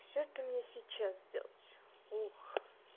всё это мне сейчас делать ух